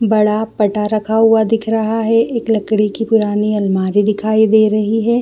बड़ा पटा रखा हुआ दिख रहा है एक लकड़ी कि पुरानी अलमारी दिखाई दे रही हैं।